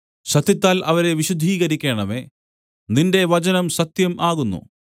സത്യത്താൽ അവരെ വിശുദ്ധീകരിക്കേണമേ നിന്റെ വചനം സത്യം ആകുന്നു